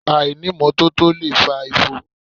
Àìní ìmọ́tótó lè fa ifo